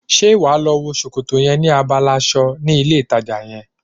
Ṣé wàá lọ wo sòkòtò yẹn ní abala aṣọ ní ilé ìtajà yẹn?